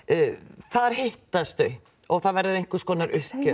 þar hittast þau og það verður einhvers konar uppgjör